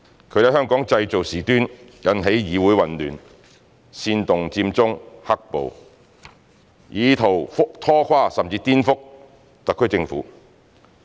他們在香港製造事端，引起議會混亂，煽動佔中行動及"黑暴"事件，以圖拖垮甚至顛覆特區政府。